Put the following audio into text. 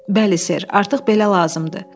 Bəli, ser, artıq belə lazımdır.